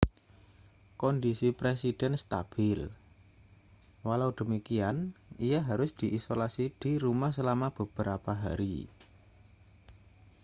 kondisi presiden stabil walau demikian ia harus diisolasi di rumah selama beberapa hari